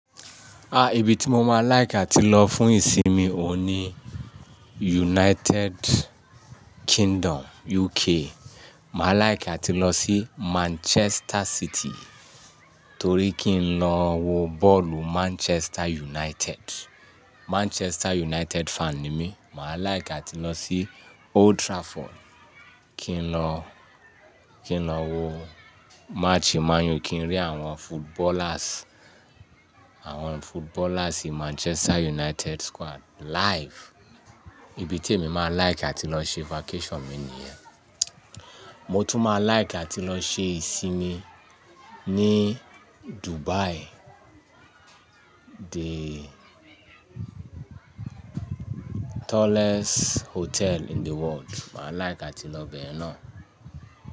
Ah, ibi tí mo máa like láti lọ fún ìsinmi òní United Kingdom, UK. Máa like láti lọ sí Manchester City torí kí n lọ wo bọ́ọ̀lù Manchester United. Manchester United fan ni mí. Máa like láti lọ sí Old Trafford, kí n lọ, kí n lọ wo match man u, kí n rí àwọn footballers, àwọn footballers in Manchester United squad live. Ibi tí èmi má like láti lọ ṣe vacation mi nìyẹn. Mo tún má like láti lọ ṣe ìsinmi ní Dubai. The tallest hotel in the world. Mà like láti lọ bẹ̀rẹ̀ náà.